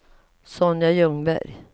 Sonja Ljungberg